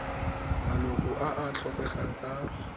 maloko a a tlotlegang a